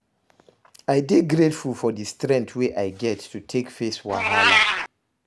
I dey grateful for di strength wey I get to take face wahala.